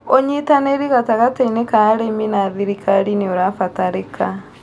ũnyitanĩri gatagatĩini ka arĩmi na thirikari nĩũrabatarĩka